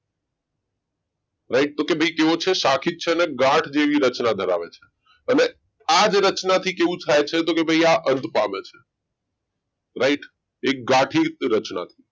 right તો કે ભાઈ કેવો છે સાખી જ છે અને ગાંઠ જેવી રચના ધરાવે છે અને આ જ રચનાથી કેવું થાય છે તો કે ભાઈ અંત પામે છે right એ ગાંઠિત રચના